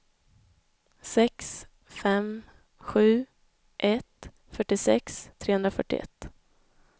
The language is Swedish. sex fem sju ett fyrtiosex trehundrafyrtioett